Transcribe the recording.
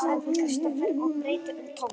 sagði Kristófer og breytti um tón.